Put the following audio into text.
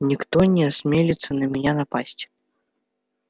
никто не осмелится на меня напасть